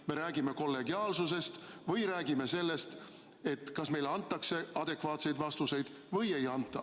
Me räägime kollegiaalsusest või sellest, kas meile antakse adekvaatseid vastuseid või ei anta.